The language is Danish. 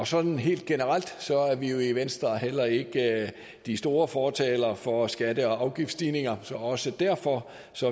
sådan helt generelt er vi jo i venstre heller ikke de store fortalere for skatte og afgiftsstigninger så også derfor